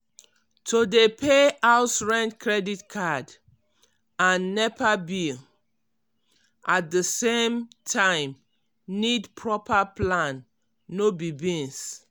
to dey pay house rent credit card um and nepa bill at di same um time need proper plan no be beans.